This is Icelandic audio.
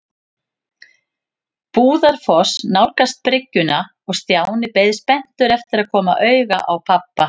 Brúarfoss nálgast bryggjuna og Stjáni beið spenntur eftir að koma auga á pabba.